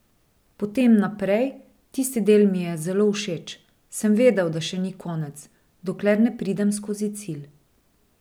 Potem naprej, tisti del mi je zelo všeč, sem vedel, da še ni konec, dokler ne pridem skozi cilj.